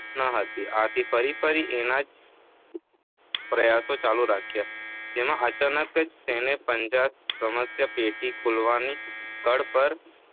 શકી નહીં. આથી ફરી ફરી એના એ જ પ્રયાસો ચાલુ રાખ્યા. જેમાં અચાનક જ તેનો પંજો સમસ્યાપેટી ખૂલવાની કળ પર